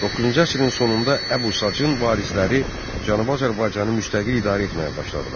9-cu əsrin sonunda Əbu Sacın varisləri Cənubi Azərbaycanı müstəqil idarə etməyə başladılar.